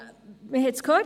Wir haben es gehört: